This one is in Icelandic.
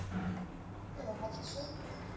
Hvenær hefst sauðburður?